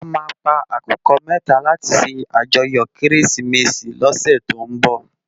À má pá àkúkò mètá làti sé àjòyò Kérésimési lòsè tó n bò